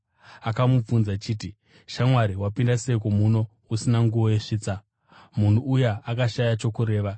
Akamubvunza akati, ‘Shamwari, wapinda seiko muno usina nguo yesvitsa?’ Munhu uya akashaya chokureva.